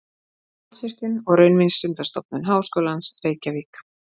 Landsvirkjun og Raunvísindastofnun Háskólans, Reykjavík.